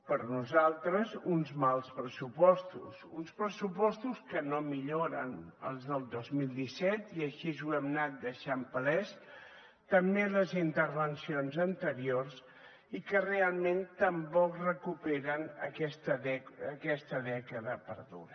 per nosaltres uns mals pressupostos uns pressupostos que no milloren els del dos mil disset i així ho hem anat deixant palès també en les intervencions anteriors i que realment tampoc recuperen aquesta dècada perduda